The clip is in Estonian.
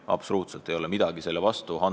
Absoluutselt mitte midagi ei ole selle vastu!